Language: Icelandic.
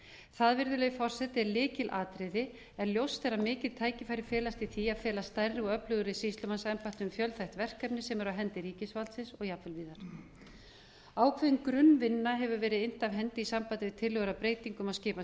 það virðulegi forseti er lykilatriði en ljóst er að mikil tækifæri felast í því að fela stærri og öflugri sýslumannsembættum fjölþætt verkefni sem eru á hendi ríkisvaldsins og jafnvel víðar ákveðin grunnvinna hefur verið innt af hendi í sambandi við tillögur að breytingum á skipan